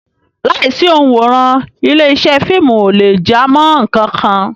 Láìsí òǹwòran, ilé-iṣẹ́ fíìmù ò lè jámọ́ nǹkan kan.